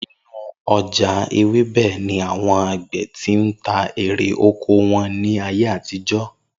Inú o̩jà ewébè̩ ni àwo̩n àgbè̩ ti ń ta erè oko wo̩n ní ayé àtijó̩